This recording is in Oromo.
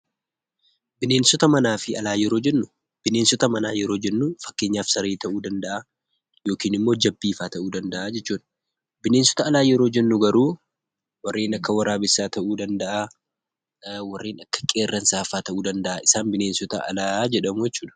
Bineensota manaa fi alaa yeroo jennu, bineensota manaa yeroo jennu fakkeenyaaf saree ta'uu danda'aa yokin immoo jabbiifaa ta'uu danda'aa jechuudha. Bineensota alaa yeroo jennu garuu warreen akka waraabessaa ta'uu danda'aa, warreen akka qeerransaafaa ta'uu danda'aa. Isaan bineensota alaa jedhamuu jechuudha.